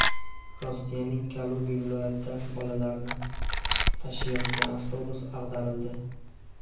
Rossiyaning Kaluga viloyatida bolalarni tashiyotgan avtobus ag‘darildi.